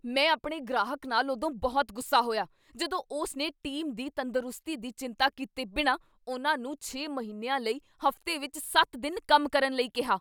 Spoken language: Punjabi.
ਮੈਂ ਆਪਣੇ ਗ੍ਰਾਹਕ ਨਾਲ ਉਦੋਂ ਬਹੁਤ ਗੁੱਸਾ ਹੋਇਆ ਜਦੋਂ ਉਸਨੇ ਟੀਮ ਦੀ ਤੰਦਰੁਸਤੀ ਦੀ ਚਿੰਤਾ ਕੀਤੇ ਬਿਨਾਂ ਉਨ੍ਹਾਂ ਨੂੰ ਛੇ ਮਹੀਨਿਆਂ ਲਈ ਹਫ਼ਤੇ ਵਿੱਚ ਸੱਤ ਦਿਨ ਕੰਮ ਕਰਨ ਲਈ ਕਿਹਾ